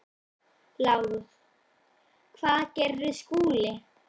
LÁRUS: Hvað gerði Skúli?